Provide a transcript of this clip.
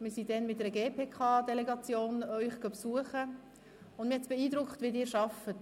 Wir besuchten Sie damals mit einer Delegation der GPK, und die Art und Weise, wie Sie arbeiten, hat mich beeindruckt.